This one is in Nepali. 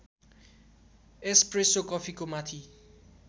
एस्प्रेसो कफीको माथि